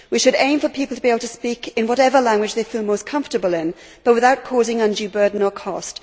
We should aim for people to be able to speak in whatever language they feel most comfortable in, but without causing undue burden or cost.